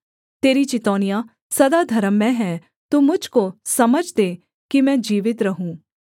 तेरी चितौनियाँ सदा धर्ममय हैं तू मुझ को समझ दे कि मैं जीवित रहूँ